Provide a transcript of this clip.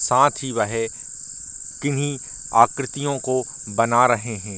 साथ ही वहे किन्ही आकृतियां को बना रहे हैं।